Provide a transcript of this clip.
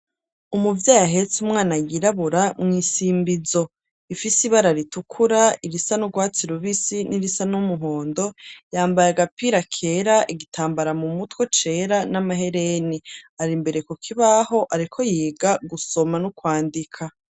Umuvyeyi yahetse umwana yirabura mwisimbizo, ifise ibara ritukura irisa n'urwatsi rubisi n'irisa n'umuhondo yambaye agapira kera igitambara mu mutwe cera n'amahereni, ari imbere ku kibaho ariko yiga gusoma no kwandika.